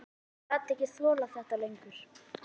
Hann gat ekki þolað þetta lengur.